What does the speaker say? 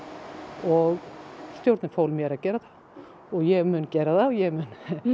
og stjórnin fól mér að gera það og ég mun gera það og ég mun